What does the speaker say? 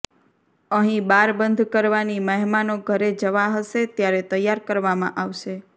અહીં બાર બંધ કરવાની મહેમાનો ઘરે જવા હશે ત્યારે તૈયાર કરવામાં આવશે